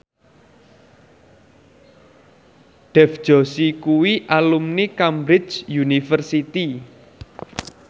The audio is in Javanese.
Dev Joshi kuwi alumni Cambridge University